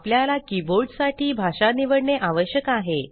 आपल्याला कीबोर्डसाठी भाषा निवडणे आवश्यक आहे